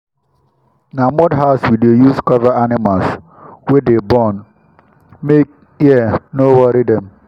na mud house we deh use cover animals wey dey born make hear no worry dem.